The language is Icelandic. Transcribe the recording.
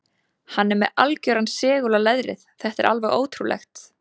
Hann er með algjöran segul á leðrið, þetta er alveg ótrúlegt.